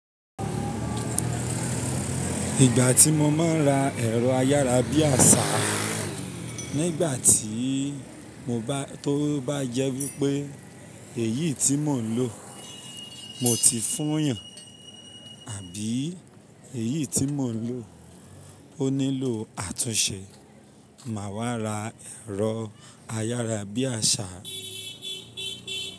Ìgbà tí mo máa ń ra ẹ̀rọ ayárabíàṣá, nígbà tí mo bá tó bá jẹ wípé èyí tí mò ń lò motì fúyàn àbí èyí tí mò ń lò? Ó nílò àtúnṣe, mà wá ra ẹ̀rọ ayárabíàṣá.